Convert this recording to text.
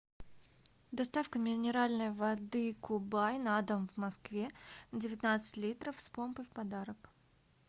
доставка минеральной воды кубань на дом в москве девятнадцать литров с помпой в подарок